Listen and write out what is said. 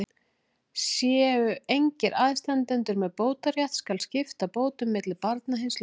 Séu engir aðstandendur með bótarétt, skal skipta bótum milli barna hins látna.